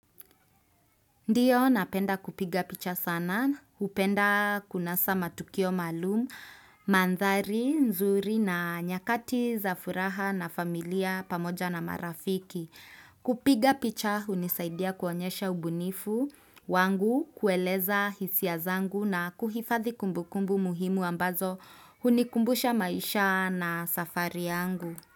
Ndio napenda kupiga picha sana, hupenda kunasa matukio maalum, mandhari, nzuri na nyakati za furaha na familia pamoja na marafiki. Kupiga picha hunisaidia kuonyesha ubunifu wangu, kueleza hisia zangu na kuhifadhi kumbukumbu muhimu ambazo hunikumbusha maisha na safari yangu.